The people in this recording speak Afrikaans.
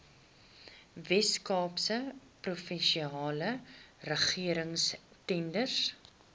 weskaapse provinsiale regeringstenders